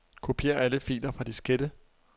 Kopier alle filer fra diskette.